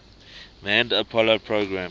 manned apollo program